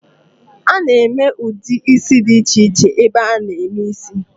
A na-eme ụdị ísí dị iche iche n'ebe a na-eme ísí.